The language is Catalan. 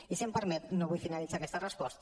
i si m’ho permet no vull finalitzar aquesta resposta